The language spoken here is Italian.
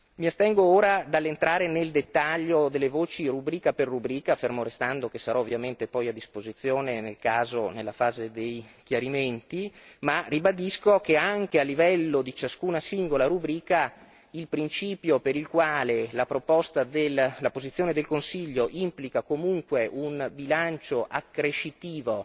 Mi astengo ora dall'entrare nel dettaglio delle voci rubrica per rubrica, fermo restando che sarò ovviamente poi a disposizione nel caso nella fase dei chiarimenti, ma ribadisco che anche a livello di ciascuna singola rubrica il principio per il quale la posizione del Consiglio implica comunque un bilancio accrescitivo